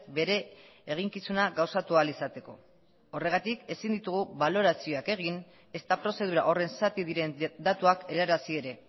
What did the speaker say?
bere eginkizuna gauzatu ahal izateko horregatik ezin ditugu balorazioak egin ezta prozedura horren zati diren datuak helarazi ere